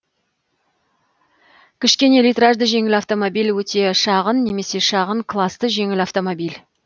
кішкене литражды жеңіл автомобиль өте шағын немесе шағын класты жеңіл автомобиль